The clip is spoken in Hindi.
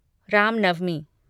राम नवमी